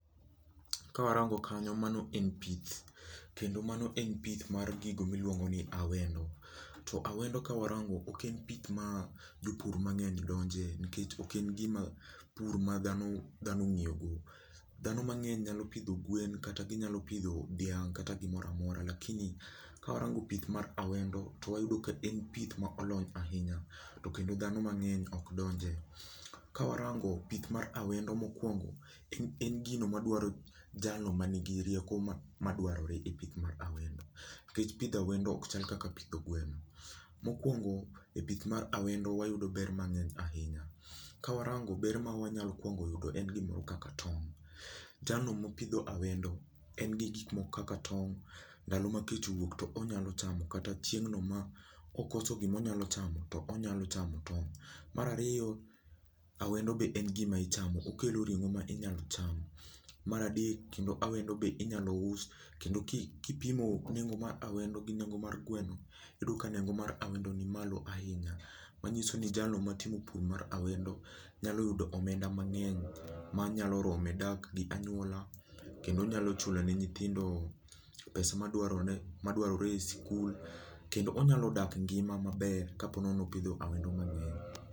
Kawarango kanyo mano en pith kendo mano en pith mar gigo miluongo ni awendo. To awendo kawarango oken pith ma jopur mangeny donje, nikech ok en pur madhano ong'iyogo dhano mangeny nyalo pidho guen kata ginyalo pidho dhiang' kata gimoramora lakini kawarango pith mar awendo to wayudo kaen pith molony ahinya tokendo dhano mang'eny ok donje. To kawarango pith mar awendo mokwongo en gino madwaro jalo manigi rieko madwarore e pith mar awendo nikech pidho awendo ok chal kaka pidho gweno mokwongo e pith mar awendo wayudo ber mangeny ahinya. Kwarango ber mwanyakuongo yudo en gimoro kaka tong jalno mapidho awendo en gi gigo kaka tong ndalo makech owuok to onyalo chamo kata chiengno maokoso gimonyalo chamo tonyalo chamo ton'g. Marariyo awendo be en gima ichamo okelo ringo minyalochamo maradek kendo awendo be inyalo us kendo kipimo nengo mar awendo gi nengo mar gweno iyudo ka nengo mar awendo ni malo ahinya manyiso ni jalo matimo pur mar awendo nyalo yudo omenda mangeny manyalo rome dak gi anyuola kendo nyalo chulo ne nyithindo pesa madwarore e school kendo onyalo dak engima maber ponono ni opidho awendo mang'eny